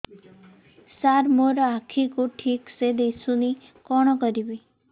ସାର ମୋର ଆଖି କୁ ଠିକସେ ଦିଶୁନି କଣ କରିବି